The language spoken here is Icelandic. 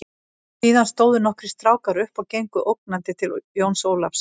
Síðan stóðu nokkrir strákar upp og gengu ógnandi til Jóns Ólafs.